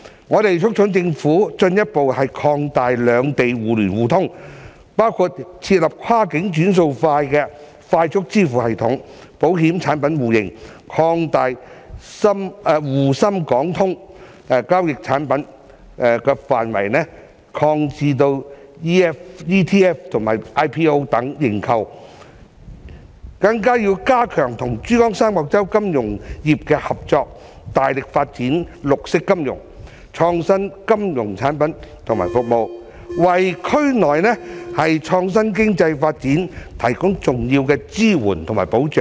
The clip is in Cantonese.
我們促請政府進一步擴大兩地互聯互通，包括設立跨境"轉數快"的快速支付系統、保險產品互認、擴大"滬深港通"交易產品範圍至 ETF 及 IPO 認購等，更要加強與珠江三角洲金融業的合作，大力發展綠色金融、創新金融產品與服務，為區內創新經濟發展提供重要的支援及保障。